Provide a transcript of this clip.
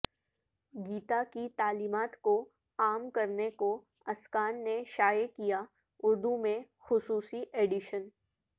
گیتا کی تعلیمات کو عام کرنے کو اسکان نے شائع کیا اردو میں خصوصی ایڈیشن